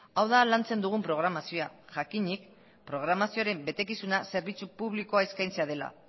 hau da lantzen dugun programazioa jakinik programazioaren betekizuna zerbitzu publikoa eskaintzea dela